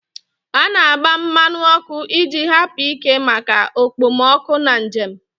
A na-agba mmanụ ọkụ iji hapụ ike maka okpomọkụ na njem.